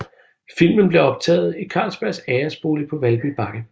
Filmen blev optaget i Carlsbergs æresbolig på Valby Bakke